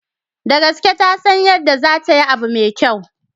Da gaske, tasan yadda zatayi abu mai kyau.